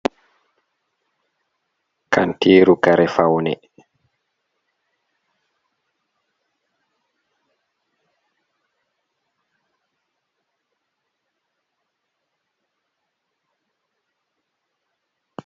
Kantiru kare fawne,